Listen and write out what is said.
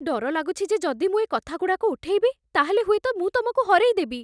ଡର ଲାଗୁଛି ଯେ ଯଦି ମୁଁ ଏ କଥାଗୁଡ଼ାକ ଉଠେଇବି, ତା'ହେଲେ ହୁଏତ ମୁଁ ତମକୁ ହରେଇଦେବି ।